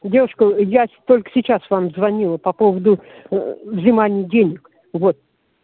девушка я только сейчас вам звонила по поводу ээ взимания денег вот